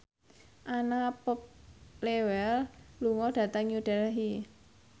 Anna Popplewell lunga dhateng New Delhi